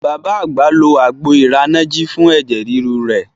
Bàbá àgbà lo àgbo iranaji fun ẹ̀jẹ̀ ríru rẹ̀.